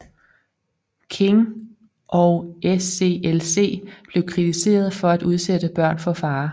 King og SCLC blev kritiseret for at udsætte børn for fare